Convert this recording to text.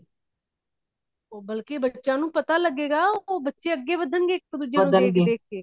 ਉਹ ਬਲਕਿ ਬੱਚੇ ਨੂੰ ਪਤਾ ਲੱਗੇਗਾ ਉਹ ਬੱਚੇ ਅੱਗੇ ਵਧਨਗੇ ਇਕ ਦੂਜੇ ਨੂੰ ਦੇਖ ਦੇਖ ਕੇ